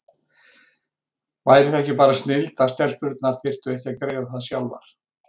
Væri það ekki bara snilld að stelpurnar þyrftu ekki að greiða það sjálfar?